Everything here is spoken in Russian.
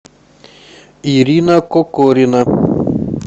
ирина кокорина